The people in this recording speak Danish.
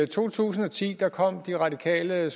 to tusind og ti kom de radikale